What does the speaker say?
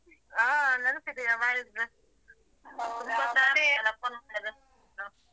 ಹಾ ನೆನ್ಪಿದೆಯಾ ಮಾಡಿದ್ದು .